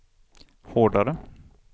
hårdare